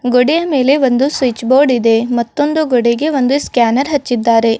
ಗೋಡೆಯ ಮೇಲೆ ಒಂದು ಸ್ವಿಚ್ ಬೋರ್ಡ್ ಇದೆ ಮತ್ತೊಂದು ಗೋಡೆಗೆ ಒಂದು ಸ್ಕ್ಯಾನರ್ ಹಚ್ಚಿದ್ದಾರೆ.